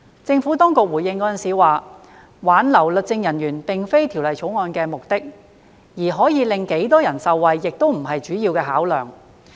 政府當局回應時表示，挽留律政人員並非《條例草案》的目的，而可令多少人受惠亦非主要考量。